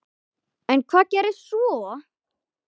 En hvað gerðist svo?